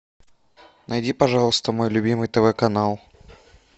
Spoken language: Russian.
найди пожалуйста мой любимый тв канал